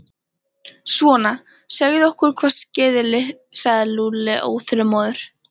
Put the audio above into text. Svona, segðu okkur hvað skeði sagði Lúlli óþolinmóður.